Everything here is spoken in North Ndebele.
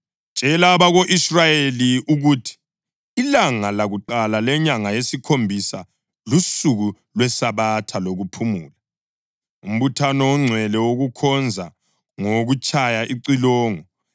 “Tshela abako-Israyeli ukuthi, ‘Ilanga lakuqala lenyanga yesikhombisa lusuku lwesabatha lokuphumula, umbuthano ongcwele wokukhonza ngokutshaya icilongo.